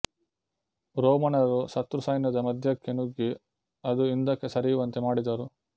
ರೋಮನರು ಶತ್ರುಸೈನ್ಯದ ಮಧ್ಯಕ್ಕೆ ನುಗ್ಗಿ ಅದು ಹಿಂದಕ್ಕೆ ಸರಿಯುವಂತೆ ಮಾಡಿದರು